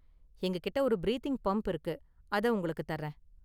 எங்ககிட்ட ஒரு breathing pump இருக்கு, அதை உங்களுக்கு தர்றேன்.